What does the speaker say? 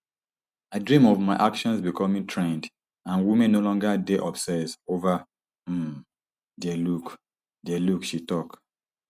i dream of my actions becoming trend and women no longer dey obsess ova um dia look dia look she tok